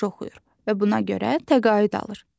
Yaxşı oxuyur və buna görə təqaüd alır.